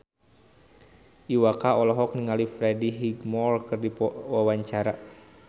Iwa K olohok ningali Freddie Highmore keur diwawancara